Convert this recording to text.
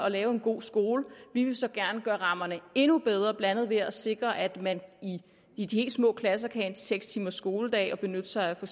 at lave en god skole vi vil så gerne gøre rammerne endnu bedre blandt andet ved at sikre at man i de helt små klasser kan have en seks timers skoledag og benytte sig af for